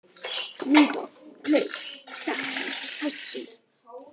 Hnúta, Kleif, Stekkshæð, Hestasund